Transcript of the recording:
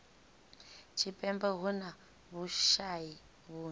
tshipembe hu na vhushayi vhunzhi